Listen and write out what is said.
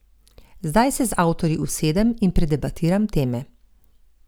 Zdaj se z avtorji usedem in predebatiram teme.